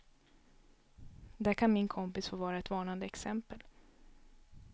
Där kan min kompis få vara ett varnande exempel.